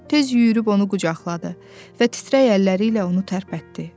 Tez yüyürüb onu qucaqladı və titrək əlləri ilə onu tərpətdi.